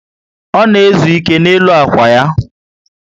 O na ezu ike n' elu ákwà ya